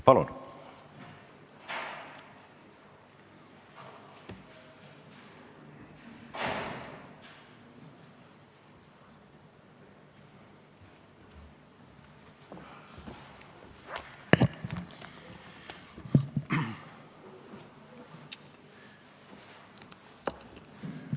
Palun!